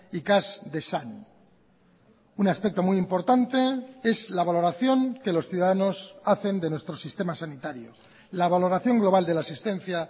ikas dezan un aspecto muy importante es la valoración que los ciudadanos hacen de nuestro sistema sanitario la valoración global de la asistencia